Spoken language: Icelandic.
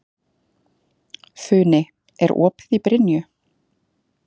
Funi, er opið í Brynju?